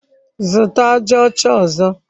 Zụta aja ọcha ọzọ!